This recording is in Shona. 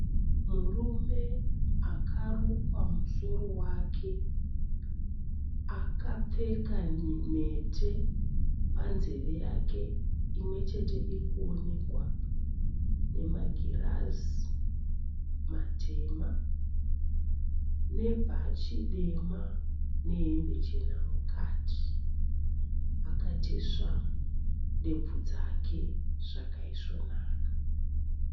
Murume akarukwa musoro wake akapfeka mhete panzeve yake imwe chete irikuonekwa, nemagirazi matema, nebhachi dema ,nehembe chena mukati . Akatesva ndebvu dzake zvakaisvo naka.